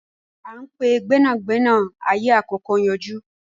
À ń pe gbẹ́nàgbẹ́nà ẹyẹ àkókó ń yọjú